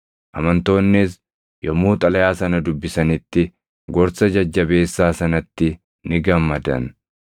Amantoonnis yommuu xalayaa sana dubbisanitti gorsa jajjabeessaa sanatti ni gammadan.